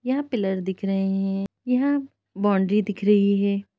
यह पिलर दिख रहे है |यहाँ बाउन्ड्री दिख रही है।